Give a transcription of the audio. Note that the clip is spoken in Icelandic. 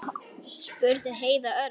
spurði Heiða örg.